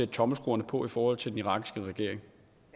tommelskruerne på i forhold til den irakiske regering